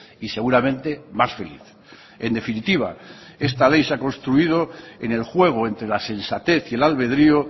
y seguramente más feliz en definitiva esta ley se ha construido en el juego entre la sensatez y el albedrio